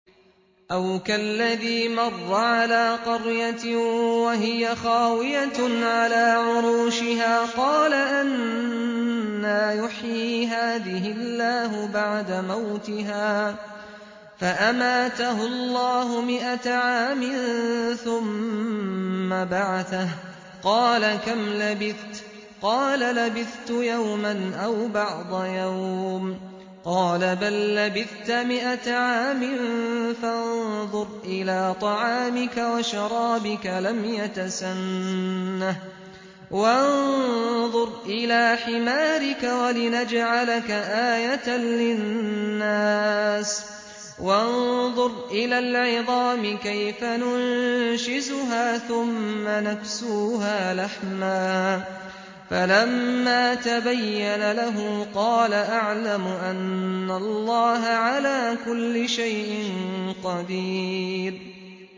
أَوْ كَالَّذِي مَرَّ عَلَىٰ قَرْيَةٍ وَهِيَ خَاوِيَةٌ عَلَىٰ عُرُوشِهَا قَالَ أَنَّىٰ يُحْيِي هَٰذِهِ اللَّهُ بَعْدَ مَوْتِهَا ۖ فَأَمَاتَهُ اللَّهُ مِائَةَ عَامٍ ثُمَّ بَعَثَهُ ۖ قَالَ كَمْ لَبِثْتَ ۖ قَالَ لَبِثْتُ يَوْمًا أَوْ بَعْضَ يَوْمٍ ۖ قَالَ بَل لَّبِثْتَ مِائَةَ عَامٍ فَانظُرْ إِلَىٰ طَعَامِكَ وَشَرَابِكَ لَمْ يَتَسَنَّهْ ۖ وَانظُرْ إِلَىٰ حِمَارِكَ وَلِنَجْعَلَكَ آيَةً لِّلنَّاسِ ۖ وَانظُرْ إِلَى الْعِظَامِ كَيْفَ نُنشِزُهَا ثُمَّ نَكْسُوهَا لَحْمًا ۚ فَلَمَّا تَبَيَّنَ لَهُ قَالَ أَعْلَمُ أَنَّ اللَّهَ عَلَىٰ كُلِّ شَيْءٍ قَدِيرٌ